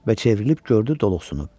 Və çevrilib gördü doluxsunu.